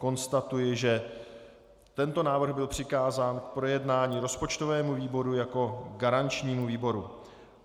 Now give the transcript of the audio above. Konstatuji, že tento návrh byl přikázán k projednání rozpočtovému výboru jako garančnímu výboru.